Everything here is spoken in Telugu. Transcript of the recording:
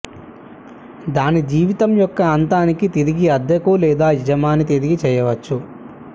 దాని జీవితం యొక్క అంతానికి తిరిగి అద్దెకు లేదా యజమాని తిరిగి చేయవచ్చు